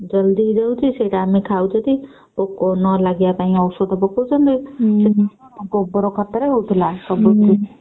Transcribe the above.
ଜଲ୍ଦି ହେଇଯାଉଛି ସେଟା ଆମେ ଖାଉଚତି breath ପୋକ ନ ଲାଗିବା ପାଇଁ ଔଷଧ ଲାଗଉଛନ୍ତି ଗୋବର ଖତରେ ହଉଥିଲା ସବୁ।